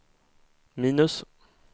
minus